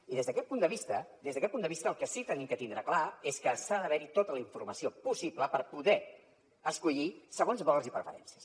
i des d’aquest punt de vista des d’aquest punt de vista el que sí hem de tindre clar és que ha d’haver hi tota la informació possible per poder escollir segons valors i preferències